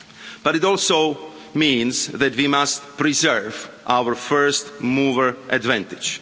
But it also means that we must preserve our first-mover' advantage.